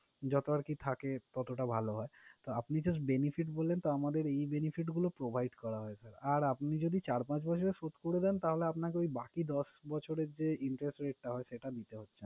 যত আরকি থাকে ততটা ভালো হয় তো আপনি just benefits বললেন তো আমাদের এই benefit গুলো provide করা হয়। sir আর আপনি যদি চার পাঁচ বছরে শোধ করে দেন তাহলে আপনাকে ওই বাকি দশ বছরের যে interest rate টা হয় সেটা দিতে হচ্ছে না।